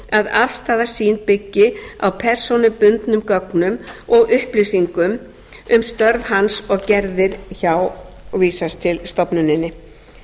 að afstaða sín byggi á persónubundnum gögnum og upplýsingum um störf hans og gerðir hjá og vísast til stofnuninni